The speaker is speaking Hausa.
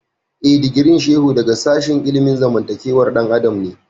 Eh, digirin Shehu daga sashen ilimin zamantakewar ɗan adam ne